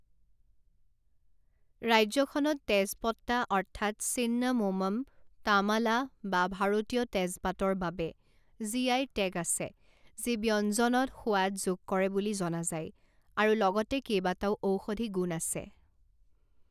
ৰাজ্যখনত তেজপট্টা অৰ্থাৎ চিন্নামোমম তামালা বা ভাৰতীয় তেজপাতৰ বাবে জিআই টেগ আছে যি ব্যঞ্জনত সোৱাদ যোগ কৰে বুলি জনা যায় আৰু লগতে কেইবাটাও ঔষধি গুণ আছে।